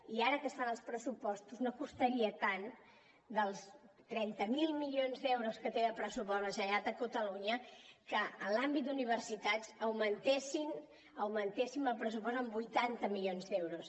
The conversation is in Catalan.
i ara que es fan els pressupostos no costaria tant dels trenta miler milions d’euros que té de pressupost la generalitat de catalunya que en l’àmbit d’universitats augmentessin augmentéssim el pressupost en vuitanta milions d’euros